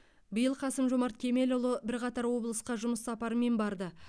биыл қасым жомарт кемелұлы бірқатар облысқа жұмыс сапарымен барды